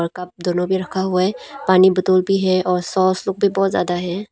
और कप दोनों भी रखा हुआ है पानी बोतोल भी है और सॉस लोग भी बहुत ज्यादा है।